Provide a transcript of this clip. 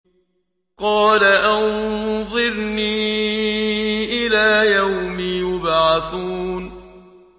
قَالَ أَنظِرْنِي إِلَىٰ يَوْمِ يُبْعَثُونَ